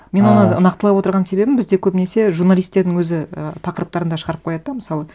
ыыы мен оны нақтылап отырған себебім бізде көбінесе журналистердің өзі ы тақырыптарында шығарып қояды да мысалы